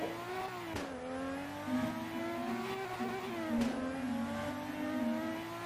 можешь поставить игру арсенала и манчестер юнайтед